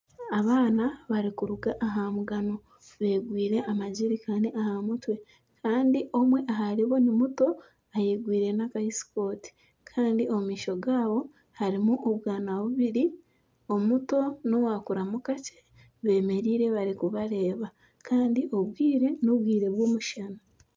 abaana barikuruga aha mugano beegwire amajerikani aha mutwe kandi omwe aharibo ni muto ayegwire n'aka esikooti kandi omu maisho gaabo harimu obwana bubiri, omuto n'owakuramu kakye beemereire barikubareeba kandi obwire n'obwire bw'omushana